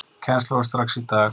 Kennsla hófst strax í dag.